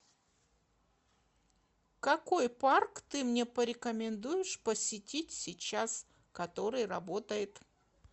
какой парк ты мне порекомендуешь посетить сейчас который работает